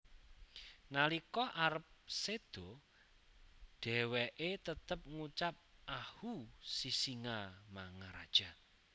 Nalika arep seda deheweke tetep ngucap Ahuu Sisingamangaraja